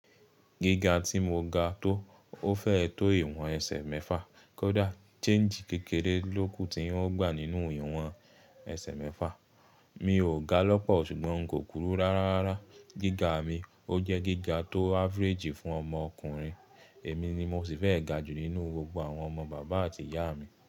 Gíga tí mo ga tó, ó fẹ́ tó ìwọ̀n ẹsẹ̀ mẹ́fà. Kódà, chéènjì kékeré lóku tí ń gbà nínú ìwọ̀n ẹsẹ̀ mẹ́fà. Mi ò ga lọ́pọ̀, ṣùgbọ́n n kò kúrú rárá. Gíga mi ó jẹ́ gíga tó ávéréjì fún ọmọ ọkùnrin. Èmi ni mo sì fẹ́ ga jù nínú gbogbo àwọn ọmọ bàbá àti ìyá mi.